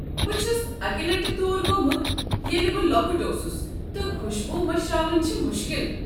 بہٕ چُھس اکہ لٹہ تور گوٚمُت ییٚلہ بہٕ لۄکُٹ اوسُس تہٕ خوشبو مشراوٕنۍ چھِ مُشکل۔